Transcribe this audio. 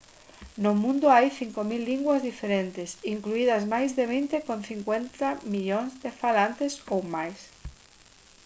no mundo hai 5000 linguas diferentes incluídas máis de vinte con 50 millóns de falantes ou máis